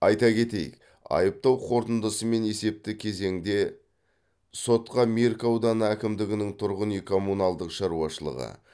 айта кетейік айыптау қорытындысымен есепті кезеңде сотқа меркі ауданы әкімдігінің тұрғын үй коммуналдық шаруашылығы